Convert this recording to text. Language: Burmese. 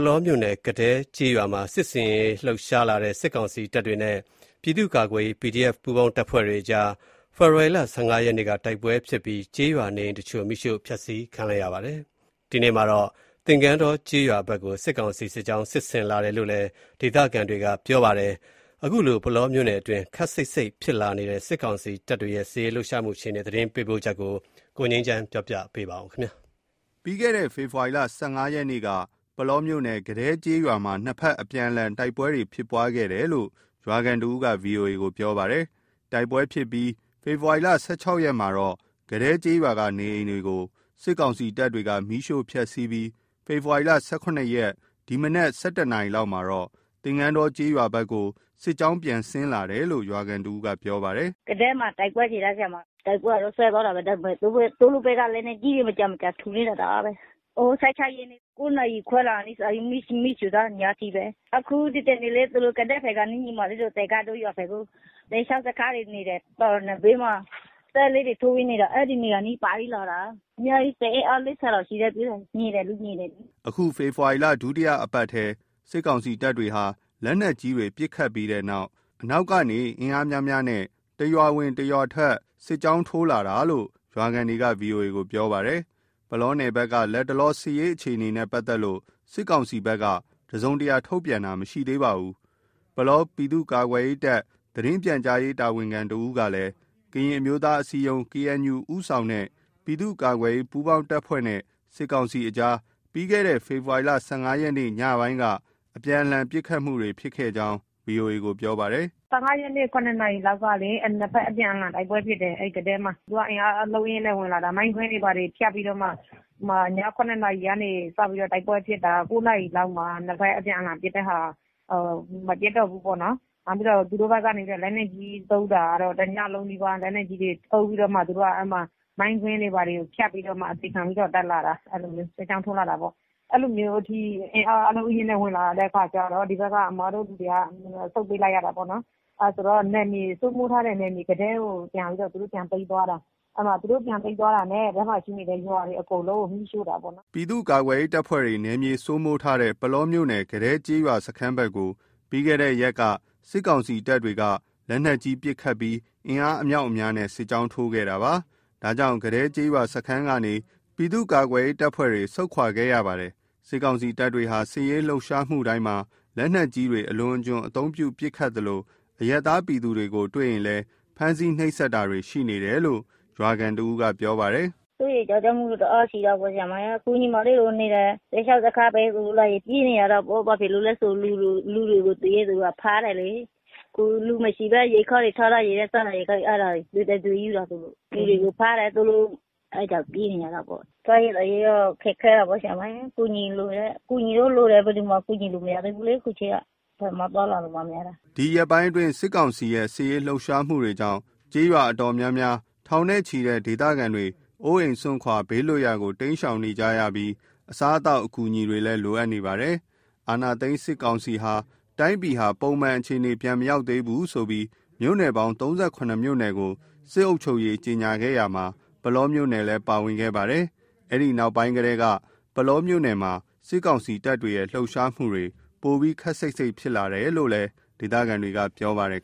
လောမြို့နယ် ကဒဲကျေးရွာမှာ စစ်ဆင်ရေးလှုပ်ရှားလာတဲ့ စစ်ကောင်စီတပ်တွေနဲ့ ပြည်သူ့ကာကွယ်ရေး PDF ပူးပေါင်းတပ်ဖွဲ့အကြား ဖေဖော်ဝါရီလ ၁၅ရက်နေ့က တိုက်ပွဲဖြစ်ပြီး ကျေးရွာနေအိမ်တချို့ မီးရှို့ဖျက်ဆီးခံရပါတယ်။ ဒီကနေ့မှာတော့ သင်္ကန်းတောကျေးရွာဖက်ကို စစ်ကောင်စီ စစ်ကြောင်းစစ်ဆင်လာတယ်လို့ ဒေသခံတွေကပြောပါတယ်။ ပုလောမြို့နယ်တွင်း ခပ်စိတ်စိတ်ဖြစ်လာတဲ့ စစ်ကောင်စီတပ်တွေရဲ့ စစ်ရေးလှုပ်ရှားမှုအခြေအနေ သတင်းပေးပို့ချက်ကို ကိုငြိမ်းချမ်းက တင်ပြပေးပါမယ်။ ပြီးခဲ့တဲ့ ဖေဖော်ရီလ ၁၅ ရက်နေ့က ပုလောမြို့နယ် ကဒဲကျေးရွာမှာ နှစ်ဖက်အပြန်အလှန် တိုက်ပွဲဖြစ်တယ်လို့ ရွာခံတစ်ဦးက VOA ကို ပြောပါတယ်။ တိုက်ပွဲဖြစ်ပြီး ဖေဖော်ဝါရီ ၁၆ ရက်မှာတော့ ကဒဲကျေးရွာ နေအိမ်တွေကို စစ်ကောင်စီတပ်တွေ မီးရှို့ဖျက်စီးပြီး ဖေဖော်ဝါရီ ၁၇ ရက် ဒီကနေ့မနက် ၁၁ နာရီလောက်မှာတော့ သင်္ကန်းတောကျေးရွာဘက်ကို စစ်ကြောင်းပြန်ဆင်းလာတယ်လို့ ရွာခံတစ်ဦးက ပြောပါတယ်။ “ကဒဲမှာ တိုက်ပွဲဖြစ်တာ၊ တိုက်ပွဲကတော့ စဲသွားတာပဲ ဒါပေမယ့် သူတို့ဘက်က လက်နက်ကြီးတွေ မကြာမကြာထုနေတာ တအားပဲ၊ ဟို… ၁၆ ရက်နေ့က ၉ နာရီခွဲလာ မီးရှို့သွားတာ ညအထိပဲ။ အခု ဒီတနေ့လေ သူတို့ ကဒဲဖက်ကနေ ညီမလေးတို့ သင်္ကန်းတော ရွာဖက်ကို စစ်ရှောင်စခန်းတွေ နေတယ် တောင်နံဘေးမှာ တဲလေးတွေထိုးပြီးနေတာ အဲ့နေရာအနီးဖြတ်ပြီးလာတာ အများကြီး စစ်အင်အား ၄၀ လောက်ရှိတယ်(အဝေး လှမ်း)မြင်တယ်လေ မြင်တယ်။” အခု ဖေဖော်ဝါရီလ ဒုတိယအပတ်ထဲက စစ်ကောင်စီတပ်တွေဟာ လက်နက်ကြီးတွေပစ်ခတ်ပြီးနောက်၊ အနောက်ကနေ အင်အားများများနဲ့ တစ်ရွာဝင် တစ်ရွာထွက် စစ်ကြောင်းထိုး ဝင်လာတာလို့ ရွာခံတွေက VOA ကို ပြောဆိုကြပါတယ်။ ပုလောနယ်ဘက်က လတ်တလော စစ်ရေးအခြေအနေနဲ့ ပတ်သက်လို့ စစ်ကောင်စီဘက်က တစုံတရာ ထုတ်ပြန်တာမရှိသေးပါဘူး။ ပုလောပြည်သူ့ကာကွယ်ရေးတပ် သတင်းပြန်ကြားရေး တာဝန်ခံတစ်ဦးကလည်း ကရင်အမျိုးသားအစည်းအရုံး (KNU) ဦးဆောင်တဲ့ ပြည်သူ့ကာကွယ်ရေး ပူးပေါင်းအဖွဲ့နဲ့ စစ်ကောင်စီအကြား ပြီးခဲ့တဲ့ ဖေဖော်ဝါရီလ ၁၅ ရက်နေ့ ညပိုင်းက နှစ်ဖက်အပြန်လှန်ပစ်ခတ်မှု ဖြစ်ကြောင်း VOA ကို ပြောပါတယ်။ “၁၅ ရက်နေ့ ၇နာရီလောက်ကလေ နှစ်ဖက် အပြန်အလှန်တိုက်ပွဲဖြစ်တယ် ၊ သူက အင်အားအလုံးအရင်းနဲ့ ဝင်လာတာ မိုင်းကွင်းတွေဘာတွေ ဖြတ်ပြီးတော့ အဲ့မှာ ည ၇နာရီကနေစပြီးတော့ တိုက်ပွဲဖြစ်တယ် ၉ နာရီလောက်မှာ နှစ်ဖက်အပြန်အလှန်ပစ်တဲ့ မပစ်တော့ဘူးပေါ့နော်၊ နောက်ပြီးတော့ သူတို့ဘက်ကနေပြီးတော့ လက်နက်ကြီးသုံးတာကတော့ တညံးလုံးနီးပါး လက်နက်ကြီးတွေ သုံးပြီးတော့မှ သူတို့က အဲ့မှာ မိုင်းကွင်းတွေဘာတွေ ဖြတ်ပြီးတော့မှ တက်လာတာ အဲ့လိုမျိုး စစ်ကြောင်းထိုးလာတာပေါ့၊ အဲ့လိုမျိုးထိ အင်အားအလုံးအရင်းနဲ့ ဝင်လာတဲ့အခါကျတော့ အဲ့ဘက်က အစ်မတို့လူတွေက ဆုတ်ပေးလိုက်ရတာပေါ့နော် အဲ့ဆိုတော့ စိုးမိုးထားတဲ့ ကဒဲကို ပြန်ပြီးတော့ သူတို့ ပြန်သိမ်းသွားတာ၊ အဲ့မှာ သူတို့ ပြန်သိမ်းသွားတာနဲ့ အဲ့ထဲမှာရှိတဲ့ အိမ်တွေ အကုန်လုံးကို မီးရှို့တာပေါ့နော်။” ပြည်သူ့ကာကွယ်ရေးပူးပေါင်းတပ်ဖွဲ့တွေ နယ်မြေ စိုးမိုးထားတဲ့ ပုလောမြို့နယ် ကဒဲကျေးရွာစခန်းဘက်ကို ပြီးခဲ့တဲ့ရက်က စစ်ကောင်စီတပ်တွေ လက်နက်ကြီးပစ်ခတ်ပြီး အင်အားအမြောက်အများနဲ့ စစ်ကြောင်းထိုးခဲ့တာပါ။ ဒါကြောင့် ကဒဲကျေးရွာစခန်းကနေ ပြည်သူ့ကာကွယ်ရေးပူးပေါင်းတပ်ဖွဲ့တွေ ဆုတ်ခွာခဲ့ရတယ်လို့လည်း သိရပါတယ်။ စစ်ကောင်စီတပ်တွေဟာ စစ်ရေးလှုပ်ရှားတိုင်းမှာ လက်နက်ကြီးတွေ အလွန်အကျွံအသုံးပြုပစ်ခတ်သလို အရပ်သားပြည်သူတွေကို တွေ့ရင် ဖမ်းဆီးနှိပ်စက်တာတွေရှိတယ်လို့ ရွာခံ တစ်ဦးက ပြောပါတယ်။ “စိုးရိမ်းကြောက်ကြမှုတော့ တအားရှိတယ်၊ အခုညီမလေးတို့နေတဲ့ စစ်ရှောင်စခန်းဘက်ကို လာရင် ပြေးနေရတာပေါ့ ဘာဖြစ်လို့လဲဆို တွေ့တဲ့လူတွေကို ဖမ်းတယ်လေ၊ အခုလူမရှိဘဲ ထားထားတဲ့စားနပ်ရိက္ခာကို အဲ့ဒါ သူတို့ ယူတယ်၊ လူတွေကို ဖမ်းတယ်ဆိုလို့ အဲ့ကြောက်ပြေးနေရတာပေ့ါ။ စားရေးသောက်ရေးက ခက်ခဲတာပေါ့ ဆရာမရယ် ကူညီလိုတယ်၊ အကူအညီတော့လိုတယ် ဘယ်သူမှကူညီလို့မရသေးဘူးလေ အခုချိန်က ဘယ်မှသွားလာလို့မှမရတာ။” ဒီရက်ပိုင်းအတွင်း စစ်ကောင်စီ စစ်ရေးလှုပ်ရှားမှုကြောင့် ကျေးရွာအတော်များများ ထောင်နဲ့ ချီတဲ့ ဒေသခံတွေ အိုးအိမ်စွန့်ခွာ ဘေးလွတ်ရာကို တိမ်းရှောင်နေကြရပြီး အစားအသောက်အကူအညီတွေလည်း လိုအပ်နေကြပါတယ်။ အာဏာသိမ်းစစ်ကောင်စီဟာ တိုင်းပြည်ဟာ ပုံမှန်အခြေအနေမရောက်သေးဘူးဆိုပြီး မြို့နယ်ပေါင်း ၃၇ မြို့နယ်ကို စစ်အုပ်ချုပ်ရေးကြေညာခဲ့ရာမှာ၊ ပုလောမြို့နယ်လည်း ပါဝင်ခဲ့ပါတယ်။ အဲဒီနောက်ပိုင်းကတည်းက ပုလောမှာ စစ်ကောင်စီတပ်ရဲ့ လှုပ်ရှားမှုတွေ ပိုပြီး ခပ်စိတ်စိတ်ဖြစ်လာတယ်လို့ ဒေသခံတွေက ပြောပါတယ်